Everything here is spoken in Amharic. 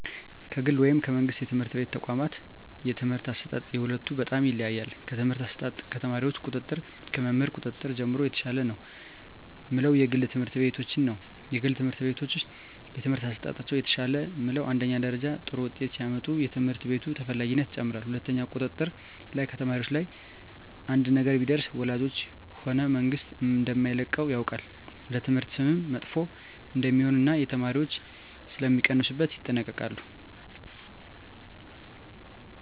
ከግል ወይም ከመንግሥት የትምህርት ተቋዋማት የትምህርት አሰጣጥ የሁለቱ በጣም ይለያያል ከትምህርት አሰጣጥ ከተማሪዎች ቁጥጥር ከመምህር ቁጥጥር ጀምሮ የተሻለ ነው ምለው የግል ትምህርት ቤቶችን ነዉ የግል ትምህርት ቤቶች የትምህርት አሠጣጣቸው የተሻለ ምለው አንደኛ ተማሪዎች ጥሩ ውጤት ሲያመጡ የትምህርት ቤቱ ተፈላጊነት ይጨምራል ሁለትኛው ቁጥጥር ላይ ከተማሪዎች ላይ አንድ ነገር ቢደርስ ወላጆች ሆነ መንግስት እደማይለቀው ያውቃል ለትምህርት ስምም መጥፎ እደሜሆን እና የተማሪዎች ሥለሚቀንሡበት ይጠነቀቃሉ